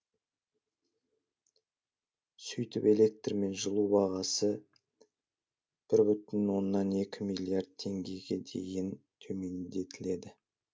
сөйтіп электр мен жылу бағасы бір бүтін оннан екі миллиард теңгеге дейін төмендетіледі